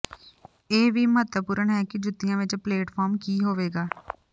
ਇਹ ਵੀ ਮਹੱਤਵਪੂਰਨ ਹੈ ਕਿ ਜੁੱਤੀਆਂ ਵਿੱਚ ਪਲੇਟਫਾਰਮ ਕੀ ਹੋਵੇਗਾ